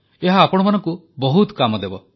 ଏହା ଆପଣମାନଙ୍କୁ ବହୁତ କାମ ଦେବ